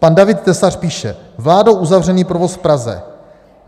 Pan David Tesař píše: Vládou uzavřený provoz v Praze.